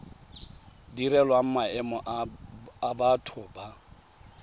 direlwang maemo a batho ba